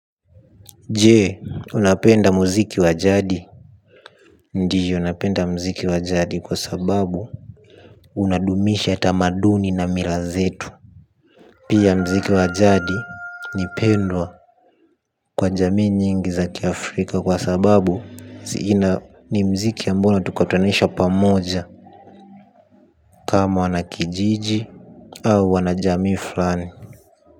Je, unapenda muziki wa jadi? Ndio napenda muziki wa jadi kwa sababu unadumisha tamaduni na mila zetu. Pia muziki wa jadi ni pendwa kwa jamii nyingi za kiafrika kwa sababu zina ni muziki ambao unatukutanisha pamoja. Kama wanakijiji au wanajamii fulani.